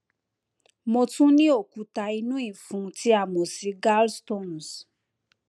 mo tún ní òkúta inú ìfún tí a mọ sí gallstones